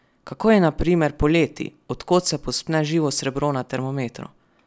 Kako je na primer poleti, do kod se povzpne živo srebro na termometru?